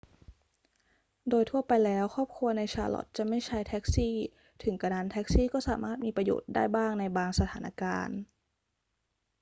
โดยทั่วไปแล้วครอบครัวใน charlotte จะไม่ใช้แท็กซี่ ถึงกระนั้นแท็กซี่ก็สามารถมีประโยชน์ได้บ้างในบางสถานการณ์